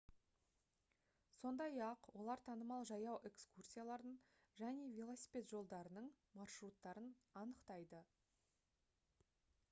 сондай-ақ олар танымал жаяу экскурсиялардың және велосипед жолдарының маршруттарын анықтайды